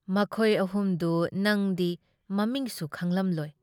ꯃꯈꯣꯏ ꯑꯍꯨꯝꯗꯨ ꯅꯪꯗꯤ ꯃꯃꯤꯡꯁꯨ ꯈꯪꯂꯝꯂꯣꯏ ꯫